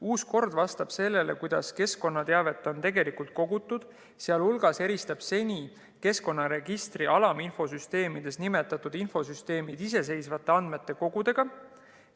Uus kord vastab sellele, kuidas keskkonnateavet on tegelikult kogutud, sh eristab seni keskkonnaregistri alaminfosüsteemides nimetatud infosüsteemid iseseisvate andmekogudena.